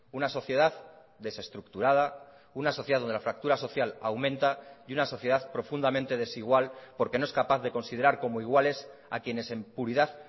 una sociedad desestructurada una sociedad donde la fractura social aumenta y una sociedad profundamente desigual porque no es capaz de considerar como iguales a quienes en puridad